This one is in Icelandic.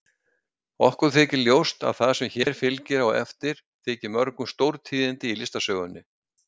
Okkur þykir ljóst að það sem hér fylgir á eftir þyki mörgum stórtíðindi í listasögunni.